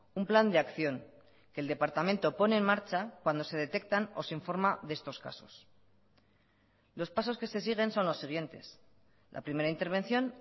un plan de acción que el departamento pone en marcha cuando se detectan o se informa de estos casos los pasos que se siguen son los siguientes la primera intervención